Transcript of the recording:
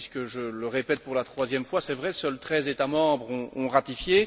En effet, je le répète pour la troisième fois, c'est vrai, seuls treize États membres ont ratifié.